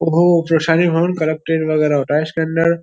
होता है इसके अंदर।